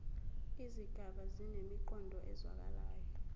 izigaba zinemiqondo ezwakalayo